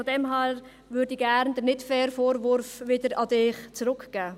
Daher möchte ich den nicht fairen Vorwurf wieder an Sie zurückgeben.